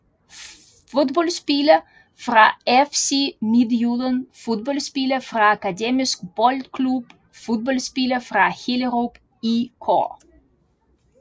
Fodboldspillere fra FC Midtjylland Fodboldspillere fra Akademisk Boldklub Fodboldspillere fra Hellerup IK